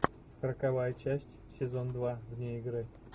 сороковая часть сезон два вне игры